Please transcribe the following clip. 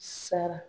Sara